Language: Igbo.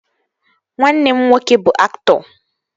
Nwanne m nwoke bụ aktọ